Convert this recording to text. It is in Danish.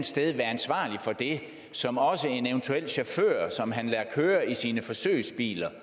sted være ansvarlig for det som også en eventuel chauffør som han lader køre i sine forsøgsbiler